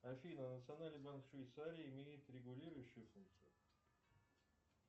афина национальный банк швейцарии имеет регулирующую функцию